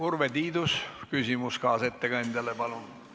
Urve Tiidus, küsimus kaasettekandjale, palun!